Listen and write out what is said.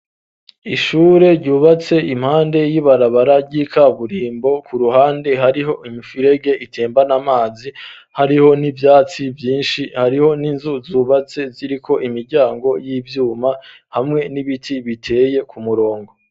Ishure ryubatse impande y'ibarabaragikaburimbo ku ruhande hariho imfirege itembana amazi hariho n'ivyatsi vyinshi hariho n'inzu zubatse ziriko imiryango y'ivyuma hamwe n'ibiti biteye ku murongo.